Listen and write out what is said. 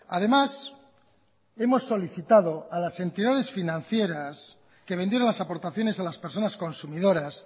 además hemos solicitado a las entidades financieras que vendieron las aportaciones a las personas consumidoras